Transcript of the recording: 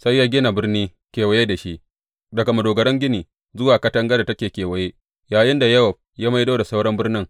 Sai ya gina birni kewaye da shi, daga madogaran gini zuwa katangar da take kewaye, yayinda Yowab ya maido da sauran birnin.